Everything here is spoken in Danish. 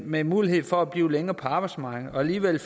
med mulighed for at blive længere på arbejdsmarkedet og alligevel